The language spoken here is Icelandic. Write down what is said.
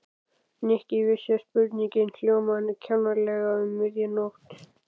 Nikki vissi að spurningin hljómaði kjánalega um miðja nótt.